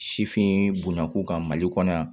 Sifin bunako kan mali kɔnɔ yan